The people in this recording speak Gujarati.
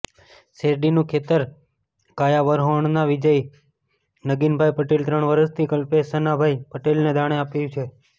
શેરડીનું ખેતર કાયાવરોહણના વિજય નગીનભાઈ પટેલે ત્રણ વર્ષથી કલ્પેશ શનાભાઈ પટેલને દાણે આપ્યું છે